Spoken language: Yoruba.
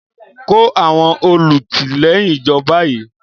Kó àwọn olùtìlẹ́yìn jọ báyìí!